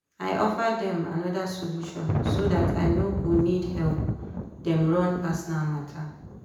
i offer dem another solution so dat i no go need help dem run personal matter.